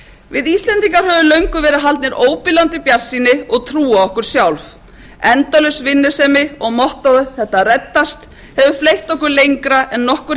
við íslendingar höfum löngum verið haldin óbilandi bjartsýni og trú á okkur sjálf endalaus vinnusemi og mottóið þetta reddast hefur fleytt okkur lengra en nokkur